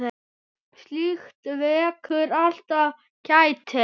Slíkt vekur alltaf kæti.